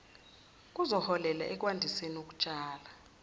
kuzoholela ekwandiseni ukutshala